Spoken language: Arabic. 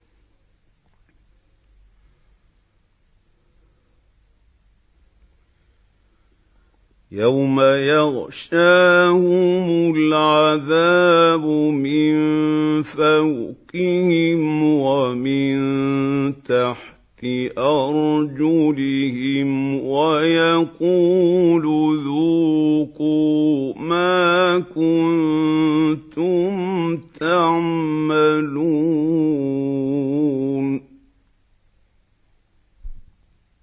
يَوْمَ يَغْشَاهُمُ الْعَذَابُ مِن فَوْقِهِمْ وَمِن تَحْتِ أَرْجُلِهِمْ وَيَقُولُ ذُوقُوا مَا كُنتُمْ تَعْمَلُونَ